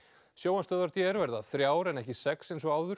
sjónvarpsstöðvar d r verða þrjár en ekki sex eins og áður